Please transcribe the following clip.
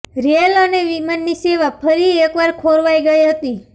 rail અને વિમાની સેવા ફરી એકવાર ખોરવાઈ ગઈ હતી